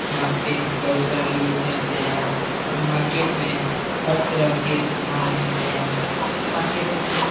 यहाँ पे बहुत सारे लोग जाते हैं और मार्केट में हर तरह के समान मिलते हैं। मार्केट में --